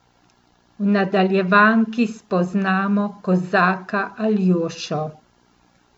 V nadaljevanki spoznamo kozaka Aljošo.